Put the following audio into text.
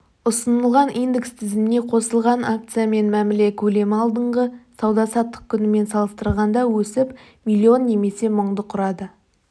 ұсынылған индекс тізіміне қосылған акциямен мәміле көлемі алдыңғы сауда-саттық күнімен салыстырғанда өсіп миллион немесе мыңды құрады